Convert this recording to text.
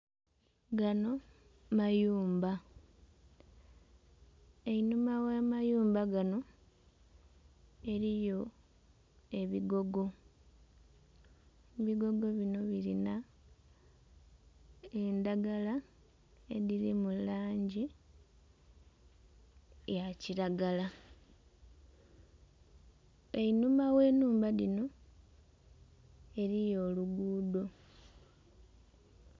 Gano mayumba, einhuma gha mayumba gano eriyo ebigogo, ebigogo bino birina endhagala edhiri mulangi ya kiragala. Einhuma gh'enhumba dhino eriyo olugudo.